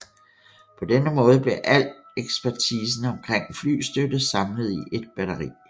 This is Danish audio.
På denne måde blev al ekspertisen omkring flystøtte samlet i et batteri